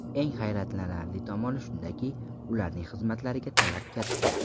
Eng hayratlanarli tomoni shundaki, ularning xizmatlariga talab katta.